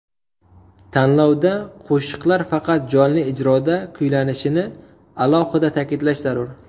Tanlovda qo‘shiqlar faqat jonli ijroda kuylanishini alohida ta’kidlash zarur.